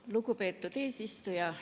Lugupeetud eesistuja!